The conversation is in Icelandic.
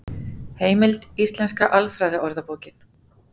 Heimild: Íslenska alfræðiorðabókin.